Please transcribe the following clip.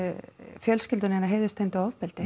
fjölskylduna heiðurstengdu ofbeldi